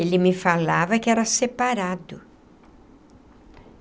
Ele me falava que era separado.